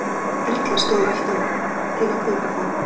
Erla: Stóð alltaf til að kaupa þau?